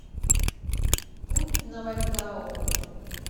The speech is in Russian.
путь на вальгаллу